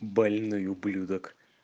больной ублюдок